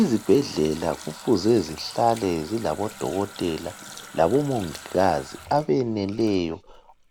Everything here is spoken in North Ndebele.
Izibhedlela kufuze zihlale zilabodokotela labomongikazi abeneleyo